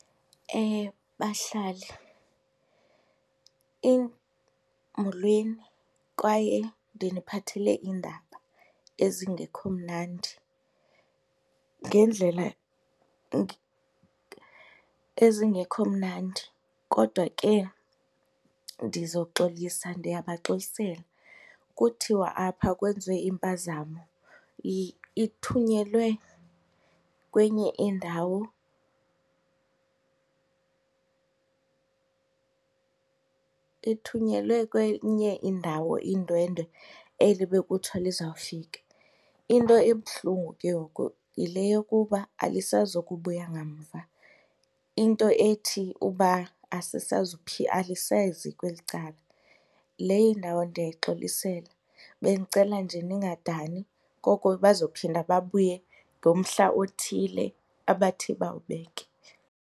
Bahlali, molweni kwaye ndiniphathele iindaba ezingekho mnandi. Ngendlela ezingekho mnandi kodwa ke ndizoxolisa, ndiyabaxolisela. Kuthiwa apha kwenziwe impazamo ithunyelwe kwenye indawo ithunyelwe kwenye indawo indwendwe eli bekuthiwa lizawufika. Into ebuhlungu ke ngoku yile yokuba alisazukubuya ngamva into ethi ukuba alisezi kweli cala. Le indawo ndiyayixolisela. Bendicela nje ningadani koko bazophinda babuye ngomhla othile abathi bawubeke.